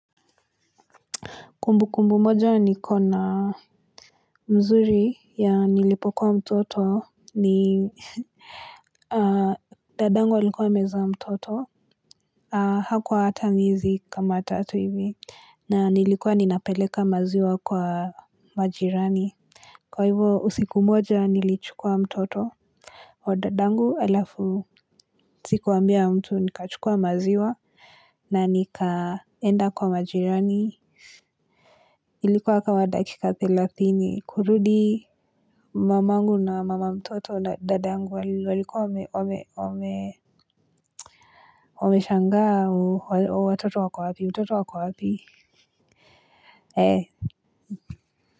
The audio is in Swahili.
Kumbu kumbu moja nikona mzuri ya nilipokuwa mtoto ni dadangu alikuwa amezaa mtoto hakuwa hata miezi kama tatu hivi na nilikuwa ninapeleka maziwa kwa majirani. Kwa hivo usiku moja nilichukua mtoto wa dadangu alafu sikuambia mtu nikachukua maziwa na nikaenda kwa majirani. Ilikuwa kama dakika thelathini kurudi mamangu na mama mtoto na dada yangu walikuwa wame wameshangaa watoto wako wapi mtoto ako wapi ee.